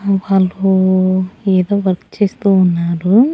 వాళ్ళు ఏదో వర్క్ చేస్తూ ఉన్నారు.